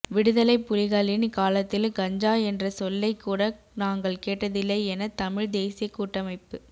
விடுதலைப் புலிகளின் காலத்தில் கஞ்சா என்ற சொல்லைக் கூட நாங்கள் கேட்டதில்லை என தமிழ் தேசியக் கூட்டமைப்பி